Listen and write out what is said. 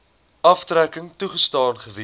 aftrekking toegestaan gewees